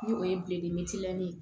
Ni o ye ye